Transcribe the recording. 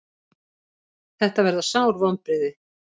Þetta verða sár vonbrigði.